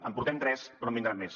en portem tres però en vindran més